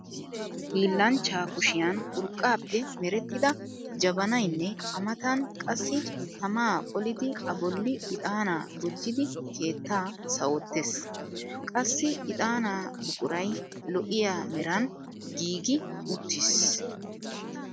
Hillanchchaa kushiyan urqqaappe merettida jabanayinne a matan qassi tamaa qolidi a bolli ixaanaa gujjidi keettaa sawottes. Qassi ixaanaa buquray lo'iyaa meran giigi uttis.